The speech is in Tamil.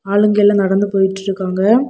ஆளுங்க எல்லா நடந்து போயிட்டு இருக்காங்க.